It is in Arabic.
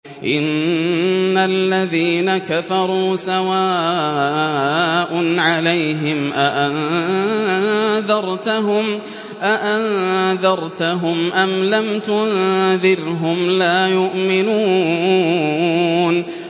إِنَّ الَّذِينَ كَفَرُوا سَوَاءٌ عَلَيْهِمْ أَأَنذَرْتَهُمْ أَمْ لَمْ تُنذِرْهُمْ لَا يُؤْمِنُونَ